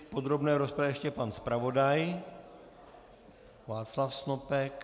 V podrobné rozpravě ještě pan zpravodaj Václav Snopek.